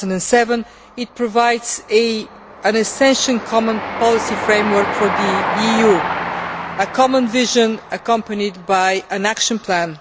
2007. It provides an essential common policy framework for the EU a common vision accompanied by an action plan.